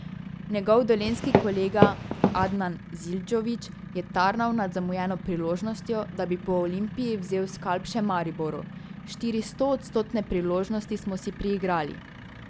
Njegov dolenjski kolega Adnan Zildžović je tarnal nad zamujeno priložnostjo, da bi po Olimpiji vzel skalp še Mariboru: 'Štiri stoodstotne priložnosti smo si priigrali!